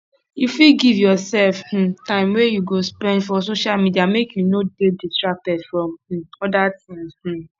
you fit give yourself um time wey you go spend for social medial make you no de distracted from um other things um